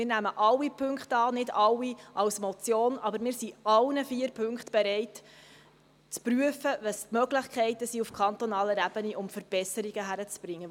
Wir nehmen alle Punkte an, nicht alle als Motion, aber wir sind in allen vier Punkten bereit, zu prüfen, welche Möglichkeiten es gibt, auf kantonaler Ebene Verbesserungen hinzukriegen.